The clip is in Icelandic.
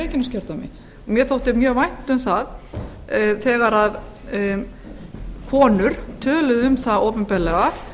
reykjaneskjördæmi mér þótti mjög vænt um það þegar konur töluðu um það opinberlega